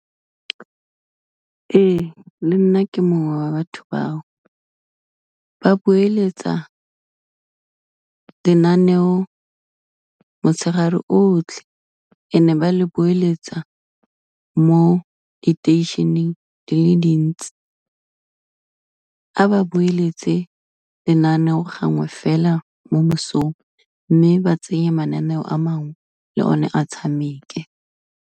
Ee le nna ke mongwe wa batho bao, ba boeletsa lenaneo motshegare otlhe and-e ba le boeletsa mo diteišeneng di le dintsi. A ba boeletse lenaneo gangwe fela mo mosong, mme ba tsenye mananeo a mangwe, le o ne a tshameke.